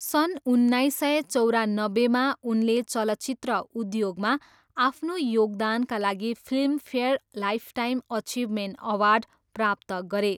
सन् उन्नाइस सय चौरानब्बेमा उनले चलचित्र उद्योगमा आफ्नो योगदानका लागि फिल्मफेयर लाइफटाइम अचिभमेन्ट अवार्ड प्राप्त गरे।